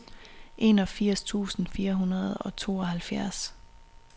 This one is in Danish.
enogfirs tusind fire hundrede og tooghalvfjerds